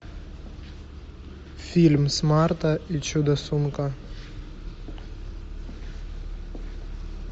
фильм смарта и чудо сумка